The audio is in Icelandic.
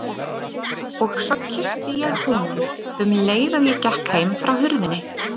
Og svo kyssti ég húninn, um leið og ég gekk heim frá hurðinni.